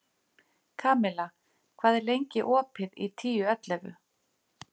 Kamilla, hvað er lengi opið í Tíu ellefu?